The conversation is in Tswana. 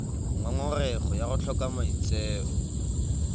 ngongorego ya go tlhoka maitseo